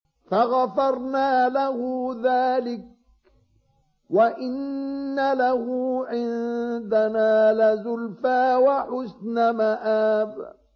فَغَفَرْنَا لَهُ ذَٰلِكَ ۖ وَإِنَّ لَهُ عِندَنَا لَزُلْفَىٰ وَحُسْنَ مَآبٍ